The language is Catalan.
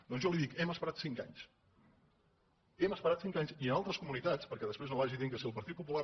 doncs jo li dic hem esperat cinc anys hem esperat cinc anys i en altres comunitats perquè després no vagi dient que si el partit popular